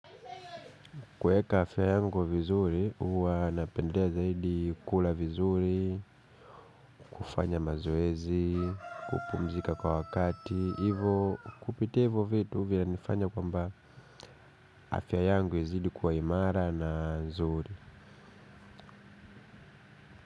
Kweka afya yangu vizuri, huwa napendea zaidi kula vizuri, kufanya mazoezi, kupumzika kwa wakati, hivyo kupitia hivyo vitu vinanifanya kwa mba afya yangu izidi kuwa imara na zuri.